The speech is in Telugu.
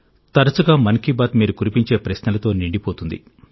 తరచుగా మన్ కి బాత్ మీరు కురిపించే ప్రశ్నలతో నిండిపోతుంది